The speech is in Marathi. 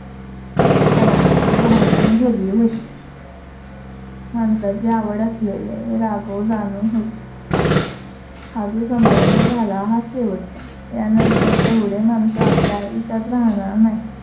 ची भावना गेली होती. माणसांची आवड असलेले राघव जाणून होते. हा जो समारंभ झाला हा शेवटचा. यानंतर एवढे मानसं आपल्या आयुष्यात राहणार नाही.